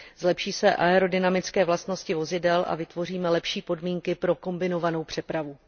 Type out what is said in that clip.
Zlepší se aerodynamické vlastnosti vozidel a vytvoříme lepší podmínky pro kombinovanou přepravu.